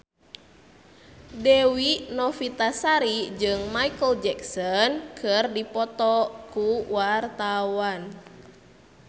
Dewi Novitasari jeung Micheal Jackson keur dipoto ku wartawan